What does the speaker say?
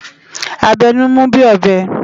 A bè nú mú bi óbè